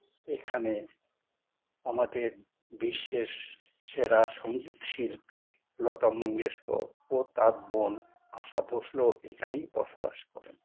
এখানে আমাদের বিশেষ সেরা সঙ্গীত শিল্পী লতা মঙ্গেশকর তার বোন আসা ভোঁসলে এখনই বসবাস করে